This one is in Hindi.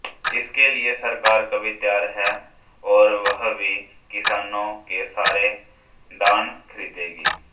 इसके लिए सरकार भी तैयार है और वह भी किसानों से सारे धान खरीदेगी